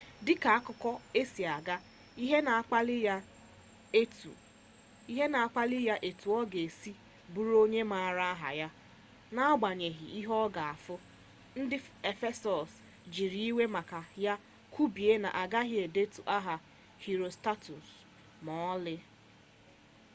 dịka akụkọ a si gaa ihe na-akpali ya bụ etu ọ ga-esi bụrụ onye a maara aha ya n'agbanyeghi ihe ọ ga-efu ndị efesọs jiiri iwe maka ya kwubie na agaghị edetu aha herostratus ma ọlị